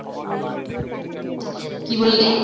কি বললি?